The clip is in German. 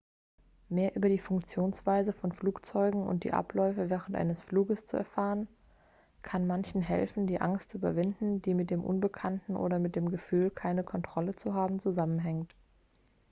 mehr über die funktionsweise von flugzeugen und die abläufe während eines fluges zu erfahren kann manchen helfen die angst zu überwinden die mit dem unbekannten oder mit dem gefühl keine kontrolle zu haben zusammenhängt